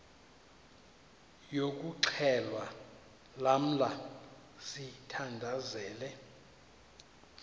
yokuxhelwa lamla sithandazel